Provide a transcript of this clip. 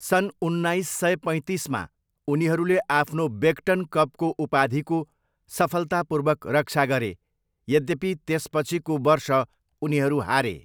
सन् उन्नाइस सय पैँतिसमा उनीहरूले आफ्नो बेग्टन कपको उपाधिको सफलतापूर्वक रक्षा गरे, यद्यपि त्यसपछिको वर्ष उनीहरू हारे।